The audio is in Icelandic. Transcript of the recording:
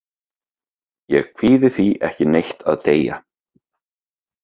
Ég kvíði því ekki neitt að deyja.